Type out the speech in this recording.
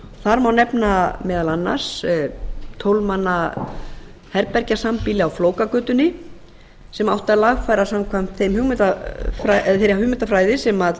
þar má nefna meðal annars tólf manna herbergja sambýli á flókagötunni sem átti að lagfæra samkvæmt þeirri hugmyndafræði sem